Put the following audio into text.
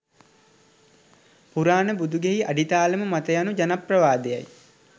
පුරාණ බුදුගෙයි අඩිතාලම මත යනු ජනප්‍රවාදයයි